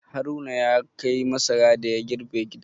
Haruna ya kai masara da ya girbe gida.